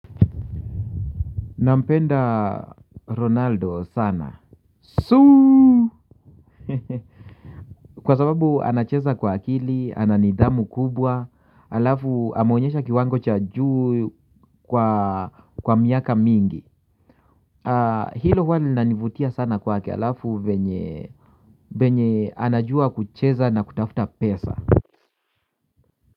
Nampenda ronaldo sana suuuu hehehehe kwa sababu anacheza kwa akili ananidhamu kubwa alafu ameonyesha kiwango cha juu kwa miaka mingi hilo huwa linanivutia sana kwake alafu venye venye anajua kucheza na kutafuta pesa.